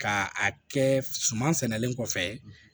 Ka a kɛ suman sɛnɛlen kɔfɛ